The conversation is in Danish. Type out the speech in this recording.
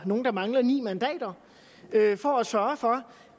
nogen der mangler ni mandater for at sørge for